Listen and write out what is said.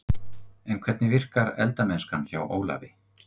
En hvernig virkar eldamennskan hjá Ólafi?